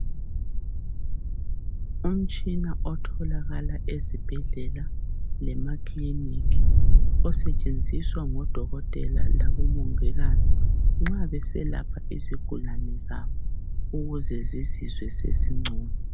Umtshina otholakala ezibhedlela lema kiliniki osetshenziswa ngodokotela labo mongikazi nxa beselapha izigulane zabo ukuze zizizwe sezingcono.